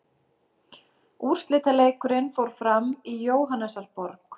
Úrslitaleikurinn fór fram í Jóhannesarborg.